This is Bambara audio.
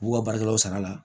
U b'u ka baarakɛlaw sara